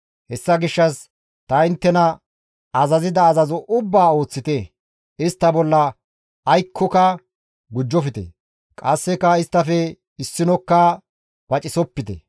Hessa gishshas ta inttena azazida azazo ubbaa ooththite; istta bolla aykkoka gujjofte; qasseka isttafe issinokka pacisopite.